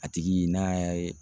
A tigi n'a ya ye.